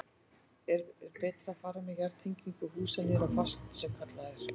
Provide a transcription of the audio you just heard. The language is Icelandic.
Er betra að fara með jarðtengingu húsa niður á fast sem kallað er?